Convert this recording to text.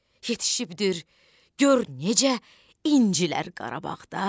Yetişibdir gör necə incələr Qarabağda.